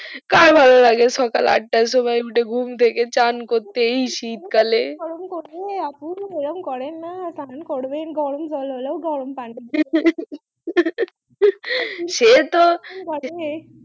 কার ভালো লাগে সকাল আটটায় ঘুম থেকে উঠে চান করতে এই শীত কালে আপু এরম করেননা চান করবেন গরম জল হলেই গরম পানিতে সেতো